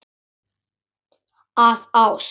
Af ást.